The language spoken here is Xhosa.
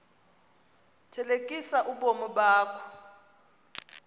thelekisa ubomi bakho